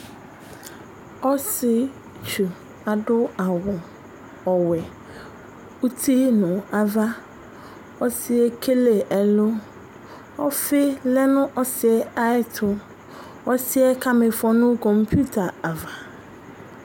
Ɔsietsu adu awu ɔwɛ uti nu ava Ɔsiyɛ ekele ɛlu Ɔfi lɛ nu ɔsiɛ ayɛtu Ɔsiɛ kamifɔ nu kamputa ava